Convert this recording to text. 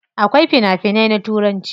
Akwai fina finai na turanci.